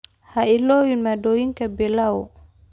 ha ilaawin maaddooyinka pilau